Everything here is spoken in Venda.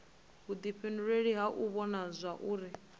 vhuifhinduleli ha u vhona zwauri